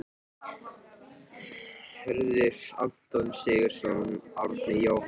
Stígvélaði kötturinn: Hörður, Anton Sigurðsson, Árni, Jóhann